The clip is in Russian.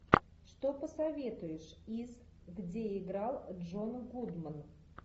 что посоветуешь из где играл джон гудман